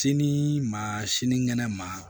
Sini ma sinikɛnɛ ma